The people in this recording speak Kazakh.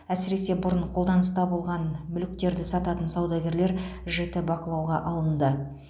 әсіресе бұрын қолданыста болған мүліктерді сататын саудагерлер жіті бақылауға алынды